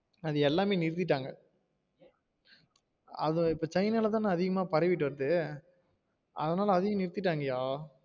அது எல்லாமே நிறுத்திட்டாங்க அது இப்ப சைனால தான அதிகம்மா பரவிட்டு வருது அதனால அதையும் நிறுத்திடாங்கயா